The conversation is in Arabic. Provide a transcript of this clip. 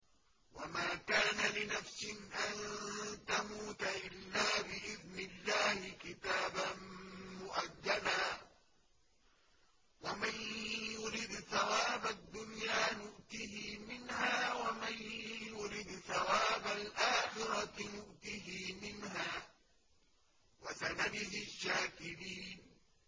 وَمَا كَانَ لِنَفْسٍ أَن تَمُوتَ إِلَّا بِإِذْنِ اللَّهِ كِتَابًا مُّؤَجَّلًا ۗ وَمَن يُرِدْ ثَوَابَ الدُّنْيَا نُؤْتِهِ مِنْهَا وَمَن يُرِدْ ثَوَابَ الْآخِرَةِ نُؤْتِهِ مِنْهَا ۚ وَسَنَجْزِي الشَّاكِرِينَ